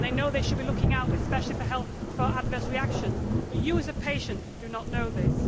They know they should be looking out especially for adverse reactions but you, as a patient, do not know this.